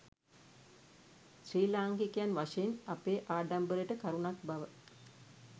ශ්‍රී ලාංකිකයන් වශයෙන් අපේ ආඩම්බරයට කරුණක් බව